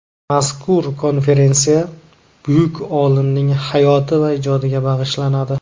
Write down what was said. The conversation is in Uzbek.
Mazkur konferensiya buyuk olimning hayoti va ijodiga bag‘ishlanadi.